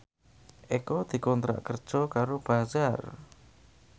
Eko dikontrak kerja karo Bazaar